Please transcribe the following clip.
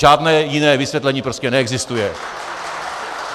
Žádné jiné vysvětlení prostě neexistuje.